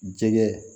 Jɛgɛ